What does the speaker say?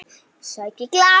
Sæki glas.